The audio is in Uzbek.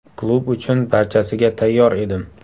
Klub uchun barchasiga tayyor edim.